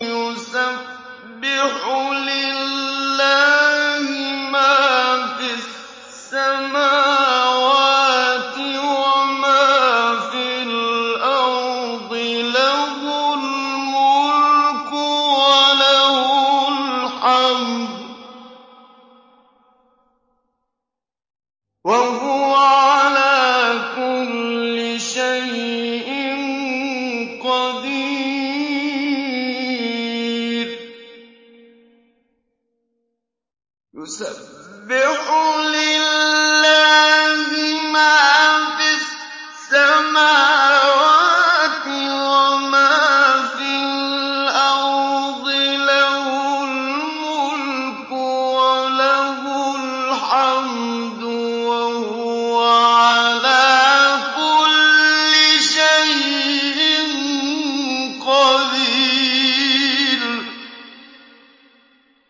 يُسَبِّحُ لِلَّهِ مَا فِي السَّمَاوَاتِ وَمَا فِي الْأَرْضِ ۖ لَهُ الْمُلْكُ وَلَهُ الْحَمْدُ ۖ وَهُوَ عَلَىٰ كُلِّ شَيْءٍ قَدِيرٌ